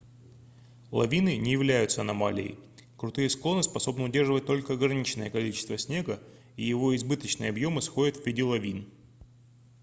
лавины не являются аномалией крутые склоны способны удерживать только ограниченное количество снега и его избыточные объемы сходят в виде лавин